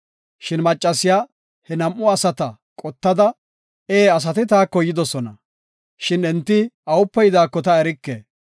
Shin maccasiya he nam7u asata qottada, “Ee asati taako yidosona, shin enti awupe yidaako ta erike.